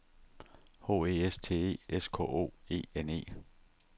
H E S T E S K O E N E